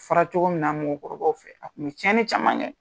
fɔra cogo min na mɔgɔkɔrɔbaw fɛ a tun bɛ tiɲɛni caman kɛ.